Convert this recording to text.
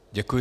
Děkuji.